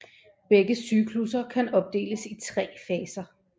Begge cyklusser kan opdeles i tre faser